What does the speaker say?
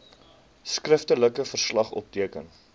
skriftelike verslag opgeteken